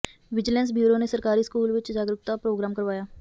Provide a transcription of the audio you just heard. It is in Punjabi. ਵਿਜੀਲੈਂਸ ਬਿਉਰੋ ਨੇ ਸਰਕਾਰੀ ਸਕੂਲ ਵਿੱਚ ਜਾਗਰੂਕਤਾ ਪ੍ਰੋਗਰਾਮ ਕਰਵਾਇਆ